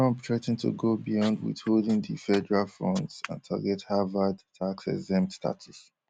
trump threa ten to go beyond withholding di federal funds and target harvard taxexempt status